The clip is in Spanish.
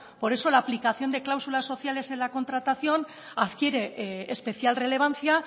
por eso la aplicación de cláusulas sociales en la contratación adquiere especial relevancia